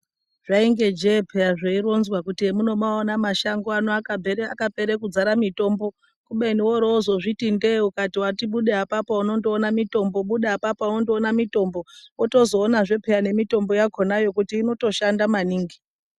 Zvainge jee peya zveironzwa kuti hemunomaona mashango ano akapera kudzare mitombo kubeni worozozviti ndee ukati wati bude apapo unondoona mitombo, bude apapo unondoona mitombo wotozoonazve peya nemitombo yakhona kuti inotoshanda maningi.